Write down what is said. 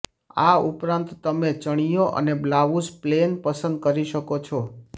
આ ઉપરાંત તમે ચણિયો અને બ્લાઉઝ પ્લેન પસંદ કરી શકો છો